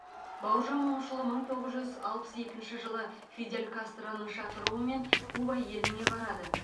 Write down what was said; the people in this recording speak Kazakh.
бауыржан момышұлы мың тоғыз жүз алпыс екінші жылы фидель кастроның шақыруымен куба еліне барады